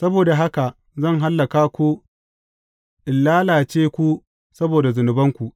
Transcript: Saboda haka, zan hallaka ku in lalace ku saboda zunubanku.